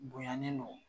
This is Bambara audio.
Bonyalen don